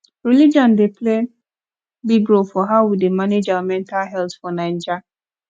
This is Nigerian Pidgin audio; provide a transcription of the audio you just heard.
religion dey play big role for how we dey manage our mental health for naija